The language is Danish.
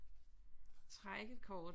Træk et kort